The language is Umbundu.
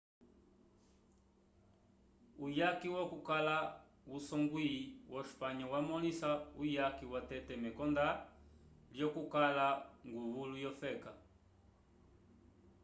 uyaki wokukala kusongwi wo espanha yamõlisa uyaki watete mekonda lyokukala nguvulu wofeka